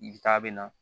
I bi taa bɛ na